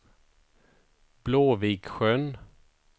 Blåviksjön